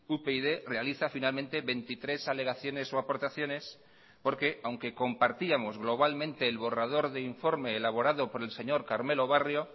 upyd realiza finalmente veintitrés alegaciones o aportaciones porque aunque compartíamos globalmente el borrador de informe elaborado por el señor carmelo barrio